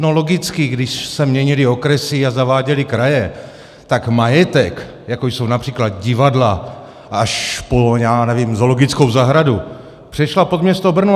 No, logicky, když se měnily okresy a zaváděly kraje, tak majetek, jako jsou například divadla, až po, já nevím, zoologickou zahradu, přešel pod město Brno.